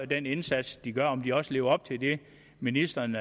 den indsats de gør og om de også lever op til det ministeren